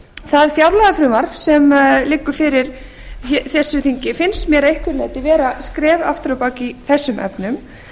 það fjárlagafrumvarp sem liggur fyrir þessu þingi finnst mér að einhverju leyti vera skref aftur á bak í þessum efnum